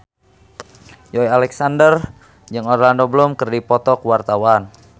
Joey Alexander jeung Orlando Bloom keur dipoto ku wartawan